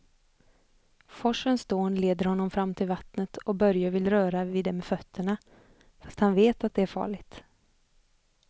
Forsens dån leder honom fram till vattnet och Börje vill röra vid det med fötterna, fast han vet att det är farligt.